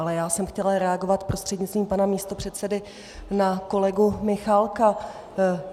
Ale já jsem chtěla reagovat prostřednictvím pana místopředsedy na kolegu Michálka.